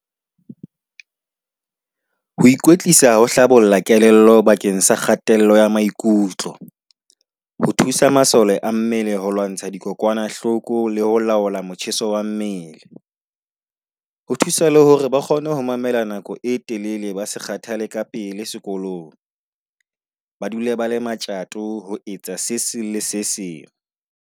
Ho ikwetlisa ho hlabolla kelello bakeng sa kgatello ya maikutlo. Ho thusa masole a mmele ho lwantsha dikokwanahloko le ho laola motjheso wa mmele. Ho thusa le hore ba kgone ho mamela nako e telele. Ba se kgathale ka pele sekolong, ba dule ba le matjato ho etsa se seng le se seng.